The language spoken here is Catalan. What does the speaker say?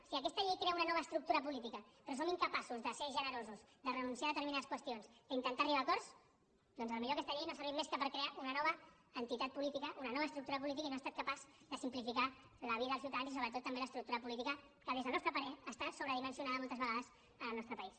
si aquesta llei crea una nova estructura política però som incapaços de ser generosos de renunciar a determinades qüestions d’intentar arribar a acords doncs potser aquesta llei no ha servit més que per crear una nova entitat política una nova estructura política i no ha estat capaç de simplificar la vida als ciutadans i sobretot també l’estructura política que des del nostre parer està sobredimensionada moltes vegades en el nostre país